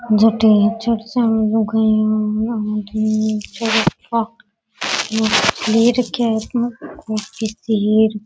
इथे चिप्स लुगाईया और